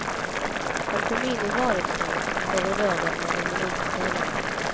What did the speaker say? Han kom in i vardagsrummet från korridoren några minuter senare.